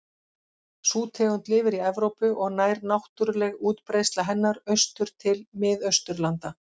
Sú tegund lifir í Evrópu og nær náttúruleg útbreiðsla hennar austur til Mið-Austurlanda.